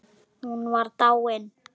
Hún var dáin.